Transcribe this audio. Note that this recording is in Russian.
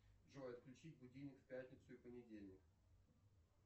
джой отключить будильник в пятницу и понедельник